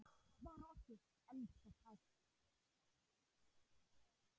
Spara orku. elskast hægt!